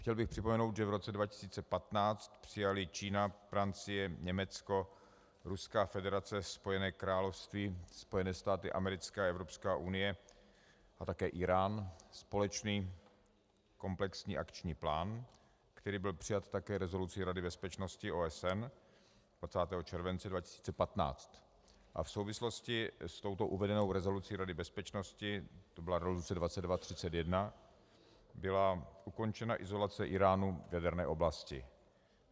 Chtěl bych připomenout, že v roce 2015 přijaly Čína, Francie, Německo, Ruská federace, Spojené království, Spojené státy americké a Evropská unie a také Írán společný komplexní akční plán, který byl přijat také rezolucí Rady bezpečnosti OSN 20. července 2015, a v souvislosti s touto uvedenou rezolucí Rady bezpečnosti, to byla rezoluce 2231, byla ukončena izolace Íránu v jaderné oblasti.